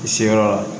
I se yɔrɔ la